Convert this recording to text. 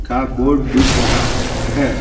का बोर्ड दिख रहा है।